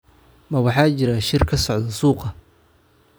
Maa waxaa jira shir ka socda suuqa